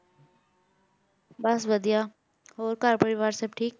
ਬਸ ਵਧੀਆ ਹੋਰ ਘਰ ਪਰਿਵਾਰ ਸਭ ਠੀਕ?